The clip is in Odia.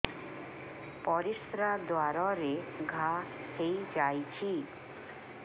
ପରିଶ୍ରା ଦ୍ୱାର ରେ ଘା ହେଇଯାଇଛି